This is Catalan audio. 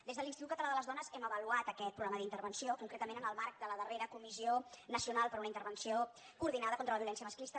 des de l’institut català de les dones hem avaluat aquest programa d’intervenció concretament en el marc de la darrera comissió nacional per a una intervenció coordinada contra la violència masclista